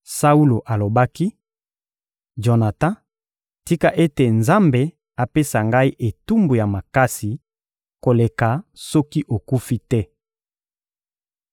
Saulo alobaki: — Jonatan, tika ete Nzambe apesa ngai etumbu ya makasi koleka soki okufi te.